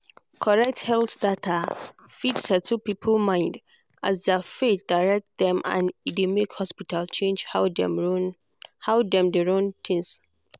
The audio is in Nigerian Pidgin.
correct health data fit settle people mind as their faith direct dem and e dey make hospital change how dem dey run things.